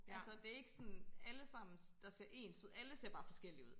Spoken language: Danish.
Altså det ikke sådan allesammen der ser ens ud alle ser bare forskellige ud